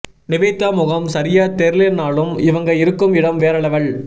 நிவேதா முகம் சரியாய் தெரியலானாலும் இவங்க இருக்கும் இடம் வேற லெவல்